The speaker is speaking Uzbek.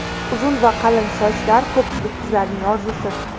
Uzun va qalin sochlar ko‘pchilik qizlarning orzusi.